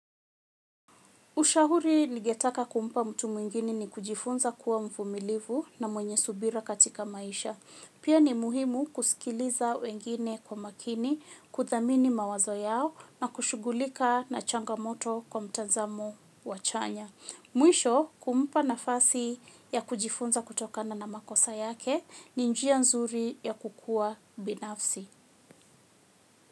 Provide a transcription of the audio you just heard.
Ushauri ningetaka kumpa mtu mwingine ni kujifunza kuwa mvumilivu na mwenye subira katika maisha. Pia ni muhimu kusikiliza wengine kwa makini, kuthamini mawazo yao na kushughulika na changamoto kwa mtazamo wa chanya. Mwisho kumpa nafasi ya kujifunza kutokana na makosa yake ni njia nzuri ya kukua binafsi.